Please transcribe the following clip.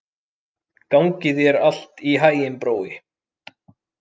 Gangi þér allt í haginn, Brói.